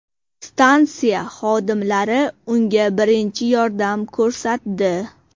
Stansiya xodimlari unga birinchi yordam ko‘rsatdi.